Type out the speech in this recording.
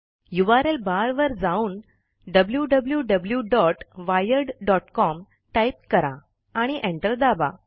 URL barवर जाऊनwwwwiredcom type करा आणि एंटर दाबा